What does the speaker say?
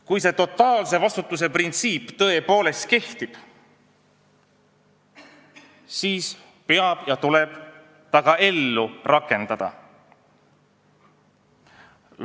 Kui see totaalse vastutuse printsiip tõepoolest kehtib, siis peab selle ellu rakendama ja see tuleb ellu rakendada.